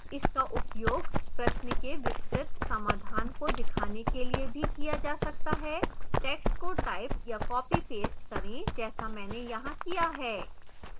इसका उपयोग प्रश्न के विस्तृत समाधान को दिखाने के लिए भी किया जा सकता है टैक्स्ट को टाइप या कॉपीपेस्ट करें जैसा मैंने यहाँ किया है